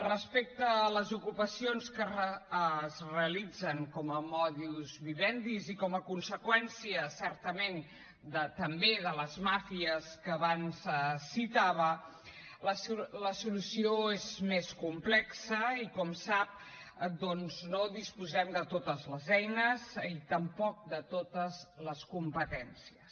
respecte a les ocupacions que es realitzen com a modus vivendi i com a conseqüència certament també de les màfies que abans citava la solució és més complexa i com sap doncs no disposem de totes les eines i tampoc de totes les competències